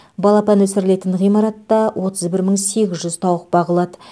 балапан өсірілетін ғимаратта отыз бір мың сегіз жүз тауық бағылады